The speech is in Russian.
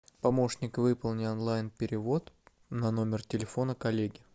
помощник выполни онлайн перевод на номер телефона коллеги